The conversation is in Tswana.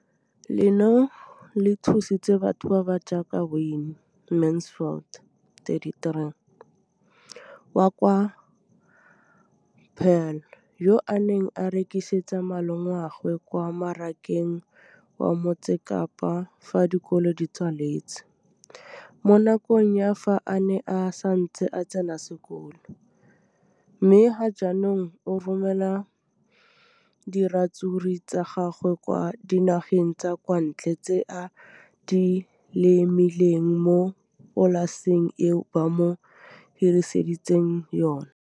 Leno le thusitse batho ba ba jaaka Wayne Mansfield 33 wa kwa Paarl, yo a neng a rekisetsa malomagwe kwa Marakeng wa Motsekapa fa dikolo di tswaletse, mo nakong ya fa a ne a santse a tsena sekolo, mme ga jaanong o romela diratsuru tsa gagwe kwa dinageng tsa kwa ntle tseo a di lemileng mo polaseng eo ba mo hiriseditseng yona.